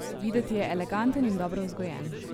Videti je eleganten in dobro vzgojen.